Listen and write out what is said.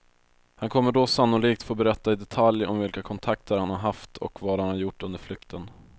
Han kommer då sannolikt få berätta i detalj om vilka kontakter han har haft och vad han har gjort under flykten.